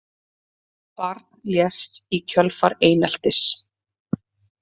Barn lést í kjölfar eineltis